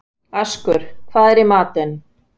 Askur, hvað er í matinn?